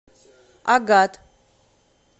агат